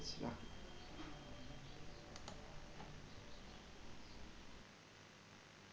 রাখো।